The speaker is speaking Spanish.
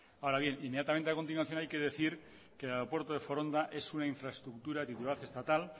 ahora bien inmediatamente a continuación hay que decir que el aeropuerto de foronda es una infraestructura de titularidad estatal